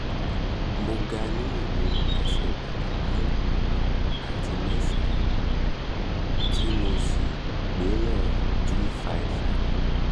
mo ga ní ìwọ̀ ẹsẹ̀ bàtà márùn-ún àti mẹ́sàn-án tí mo sì mo sì gbé ìwọn two five five